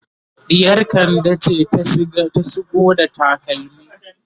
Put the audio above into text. ɗiyar kande ce ta shigo da takalmi